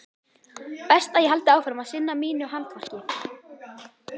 Best ég haldi áfram að sinna mínu handverki.